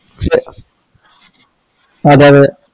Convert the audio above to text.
അതെ അതെ